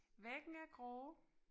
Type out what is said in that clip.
Væggen er grå